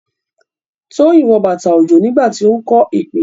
Toyin wọ bàtà òjò nígbà tí ó ń kọ́ ìpìlẹ̀.